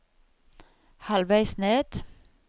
halvveis ned